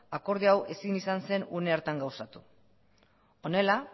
akordio hau ezin izan zen une hartan gauzatu honela